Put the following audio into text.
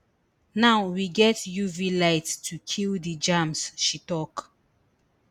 now we get uv lights to kill di germs she tok